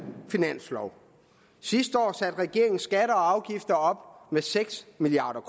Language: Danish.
finanslov sidste år satte regeringen skatter og afgifter op med seks milliard